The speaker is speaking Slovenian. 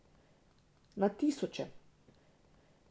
Na tisoče.